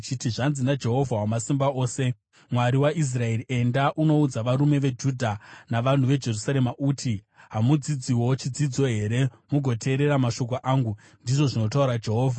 “Zvanzi naJehovha, Wamasimba Ose, Mwari waIsraeri: Enda unoudza varume veJudha navanhu veJerusarema kuti, ‘Hamudzidziwo chidzidzo here mugoteerera mashoko angu?’ ndizvo zvinotaura Jehovha.